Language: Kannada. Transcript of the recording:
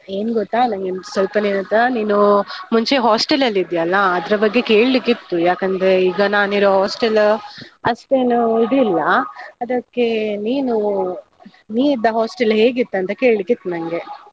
ಏನ್ಗೊತ್ತಾ? ನಂಗೊಂದ್ ಸ್ವಲ್ಪ ನಿನ್ನತ್ರ ನೀನು ಮುಂಚೆ hostel ಅಲ್ಲಿದ್ಯಲ್ಲಾ? ಅದ್ರ ಬಗ್ಗೆ ಕೆಳ್ಲಿಕಿತ್ತು, ಯಾಕಂದ್ರೆ ಈಗ ನಾನಿರೋ hostel ಅಷ್ಟೇನೂ ಇದಿಲ್ಲ, ಅದಕ್ಕೆ ನೀನು, ನೀ ಇದ್ದ hostel ಹೇಗಿತ್ತು ಅಂತ ಕೇಳಿಕ್ಕಿತು ನಂಗೆ.